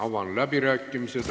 Avan läbirääkimised.